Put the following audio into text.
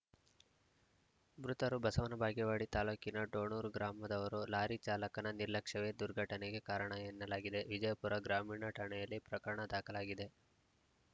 ಮೃತರು ಬಸವನ ಬಾಗೇವಾಡಿ ತಾಲೂಕಿನ ಡೋಣೂರ ಗ್ರಾಮದವರು ಲಾರಿ ಚಾಲಕನ ನಿರ್ಲಕ್ಷ್ಯವೇ ದುರ್ಘಟನೆಗೆ ಕಾರಣ ಎನ್ನಲಾಗಿದೆ ವಿಜಯಪುರ ಗ್ರಾಮೀಣ ಠಾಣೆಯಲ್ಲಿ ಪ್ರಕರಣ ದಾಖಲಾಗಿದೆ